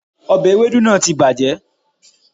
òbe ewédú náà ti bàjẹ́